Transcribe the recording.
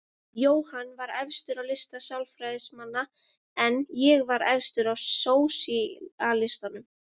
Jóhann var efstur á lista Sjálfstæðismanna en ég var efstur hjá sósíalistum.